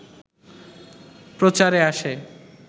প্রচারে আসে